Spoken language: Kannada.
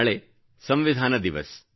ನಾಳೆ ಸಂವಿಧಾನ ದಿವಸ